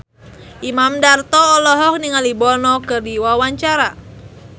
Imam Darto olohok ningali Bono keur diwawancara